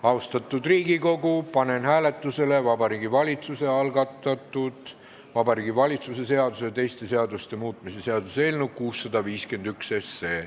Austatud Riigikogu, panen hääletusele Vabariigi Valitsuse algatatud Vabariigi Valitsuse seaduse ja teiste seaduste muutmise seaduse eelnõu 651.